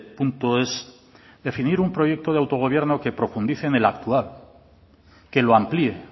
punto es definir un proyecto de autogobierno que profundice en el actual que lo amplíe